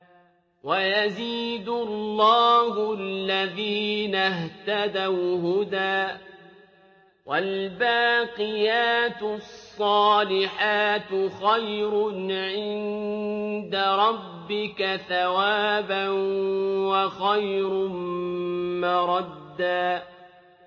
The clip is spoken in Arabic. وَيَزِيدُ اللَّهُ الَّذِينَ اهْتَدَوْا هُدًى ۗ وَالْبَاقِيَاتُ الصَّالِحَاتُ خَيْرٌ عِندَ رَبِّكَ ثَوَابًا وَخَيْرٌ مَّرَدًّا